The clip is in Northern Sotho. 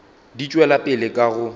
di tšwela pele ka go